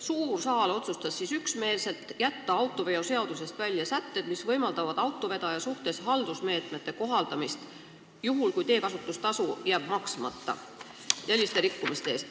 Suur saal otsustas siis üksmeelselt jätta autoveoseadusest välja sätted, mis võimaldavad autovedaja suhtes kohaldada haldusmeetmeid juhul, kui teekasutustasu jääb maksmata, st sellise rikkumise eest.